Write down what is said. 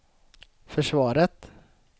försvaret